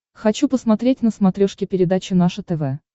хочу посмотреть на смотрешке передачу наше тв